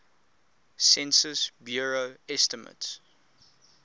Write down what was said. census bureau estimates